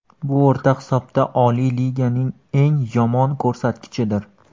Bu o‘rta hisobda Oliy Liganing eng yomon ko‘rsatkichidir.